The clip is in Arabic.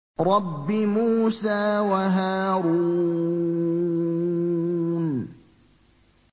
رَبِّ مُوسَىٰ وَهَارُونَ